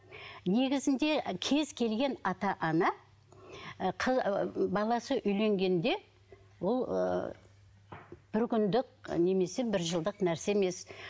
негізінде кез келген ата ана ыыы баласы үйленгенде ол ыыы бір күндік немесе бір жылдық нәрсе емес